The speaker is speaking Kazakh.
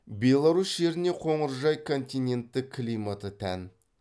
беларусь жеріне қоңыржай континентті климаты тән